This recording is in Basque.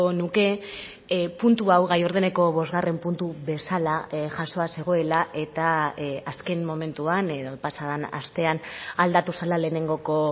nuke puntu hau gai ordeneko bosgarren puntu bezala jasoa zegoela eta azken momentuan edo pasa den astean aldatu zela lehenengoko